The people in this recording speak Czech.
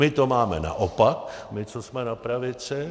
My to máme naopak, my, co jsme na pravici.